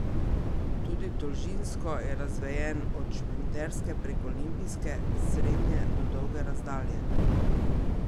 Tudi dolžinsko je razvejen, od šprinterske prek olimpijske, srednje do dolge razdalje.